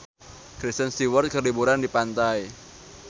Kristen Stewart keur liburan di pantai